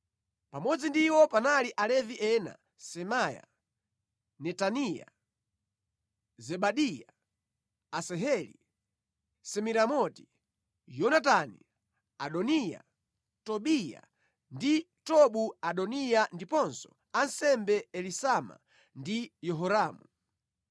Pamodzi ndi iwo panali Alevi ena: Semaya, Netaniya, Zebadiya, Asaheli, Semiramoti, Yonatani, Adoniya, Tobiya ndi Tobu-Adoniya ndiponso ansembe Elisama ndi Yehoramu.